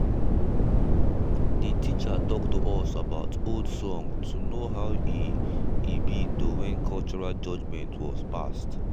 de teacher talk to us about old song to know how e e be to when cultural judgement was passed.